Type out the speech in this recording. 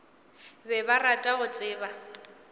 be ba rata go tseba